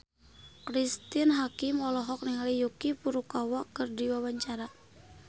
Cristine Hakim olohok ningali Yuki Furukawa keur diwawancara